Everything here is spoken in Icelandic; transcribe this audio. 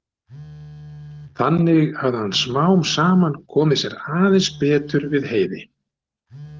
Þannig hafði hann smám saman komið sér aðeins betur við Heiði.